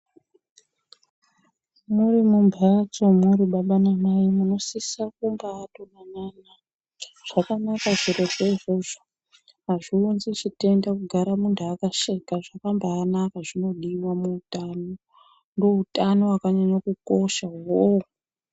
Muri mumhatso muri baba namai munosisa kumbatodanana zvakanaka zvirozvo izvozvo azviunzi chitenda kugara muntu akasheka zvakambanaka zvinodiwa muutano ndiwo utano hwakanyanya kukosha uwowo.